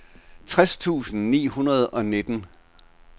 tres tusind ni hundrede og nitten